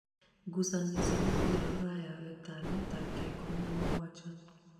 ngucanio cia mũbira rũraya wetano tarĩki ikũmi na mũgwanja